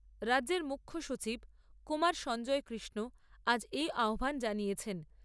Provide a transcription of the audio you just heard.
রাজ্যের মুখ্য সচিব কুমার সঞ্জয় কৃষ্ণ আজ এই আহ্বান জানিয়েছেন।